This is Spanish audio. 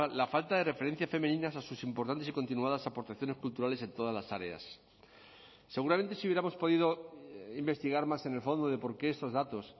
la falta de referencias femeninas a sus importantes y continuadas aportaciones culturales en todas las áreas seguramente si hubiéramos podido investigar más en el fondo de por qué estos datos